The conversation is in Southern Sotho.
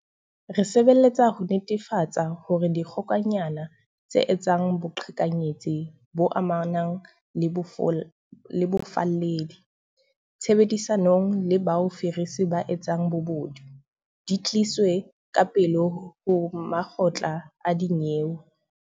Re sebeletsa ho netefatsa hore dikgokanyana tse etsang boqhekanyetsi bo amanang le bofalledi, tshebedisanong le bao fisiri ba etsang bobodu, di tliswe ka pele ho makgotla a dinyewe.